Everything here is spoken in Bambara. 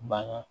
Bana